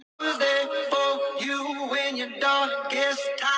Þetta eru bara þekktar stærðir.